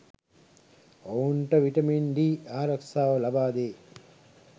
ඔවුන්ට vitamin D ආරක්ෂාව ලබාදේ.